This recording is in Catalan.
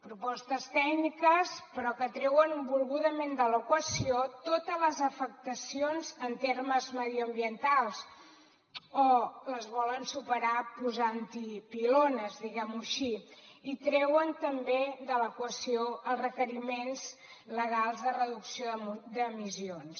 propostes tècniques però que treuen volgudament de l’equació totes les afectacions en termes mediambientals o les volen superar posant hi pilones diguem ho així i treuen també de l’equació els requeriments legals de reducció d’emissions